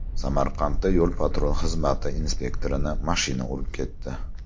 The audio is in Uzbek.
Samarqandda yo‘l-patrul xizmati inspektorini mashina urib ketdi.